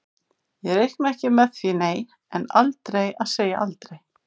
Ég reikna ekki með því nei, en aldrei að segja aldrei.